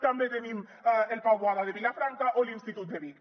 també tenim el pau boada de vilafranca o l’institut de vic